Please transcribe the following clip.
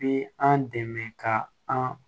Bi an dɛmɛ ka an